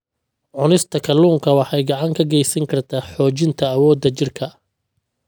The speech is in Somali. Cunista kalluunka waxay gacan ka geysan kartaa xoojinta awoodda jidhka.